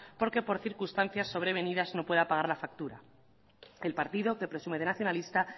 porque por circunstancias sobre venidas no pueda pagar la factura el partido que presume de nacionalista